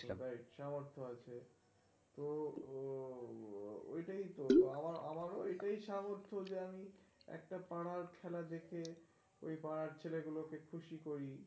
সামর্থ্য আছে তো ও ওইটাই তো আমার আমার ও এটাই সামর্থ্য যে, আমি একটা পাড়ার খেলা দেখে ওই পাড়ার ছেলেগুলোকে খুশি করি.